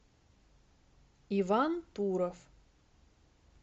иван туров